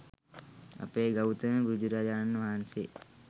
අපේ ගෞතම බුදුරජාණන් වහන්සේ